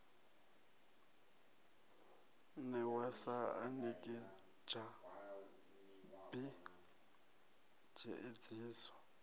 newa sa anekidzha b tshiedziso